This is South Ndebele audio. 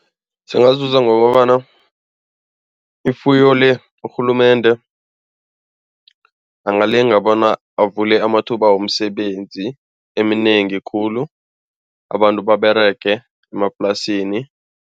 Singazuza ngokobana ifuyo le, urhulumende angalinga bona avule amathuba womsebenzi eminengi khulu abantu baberege emaplasini.